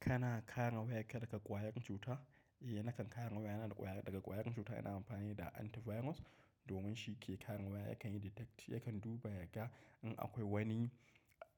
Kana kare wayarka daga ƙwayar cuta? Eh, nakan kare wayana daga ƙwayar cuta, yana amfani da antivirus domin shi ke kare waya. Yakan yi detect, yakan duba yaga in akwai wani